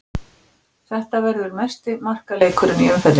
Þetta verður mesti markaleikurinn í umferðinni.